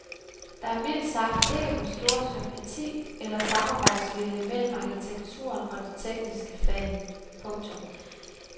Der er mildt sagt ikke den store sympati eller samarbejdsvilje mellem arkitekturen og de tekniske fag. punktum